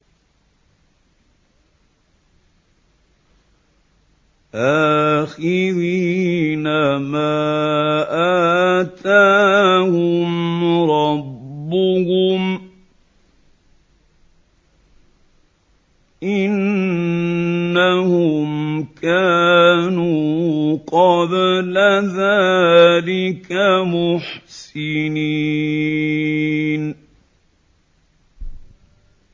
آخِذِينَ مَا آتَاهُمْ رَبُّهُمْ ۚ إِنَّهُمْ كَانُوا قَبْلَ ذَٰلِكَ مُحْسِنِينَ